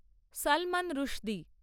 Salman Rushdie